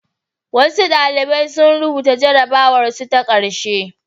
Wasu ɗalibai sun rubuta jarrabwarsu ta ƙarshe.